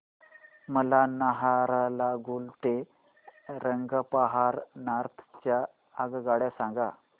मला नाहरलागुन ते रंगपारा नॉर्थ च्या आगगाड्या सांगा